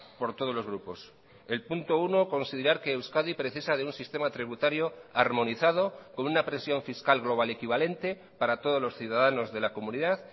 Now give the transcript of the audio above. por todos los grupos el punto uno considerar que euskadi precisa de un sistema tributario armonizado con una presión fiscal global equivalente para todos los ciudadanos de la comunidad